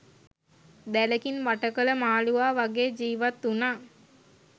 දැලකින් වට කළ මාළුවා වගේ ජීවත් වුණා